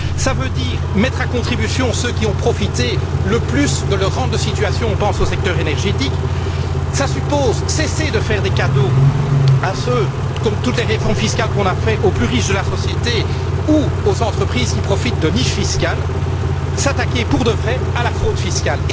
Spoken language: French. cela veut dire mettre à contribution ceux qui ont profité le plus de leur rente de situation on pense au secteur énergétique cela suppose de cesser de faire des cadeaux, comme lors de toutes les réformes fiscales qui ont été faites, aux plus riches de la société ou aux entreprises qui profitent des niches fiscales, et de s'attaquer pour de vrai à la fraude fiscale.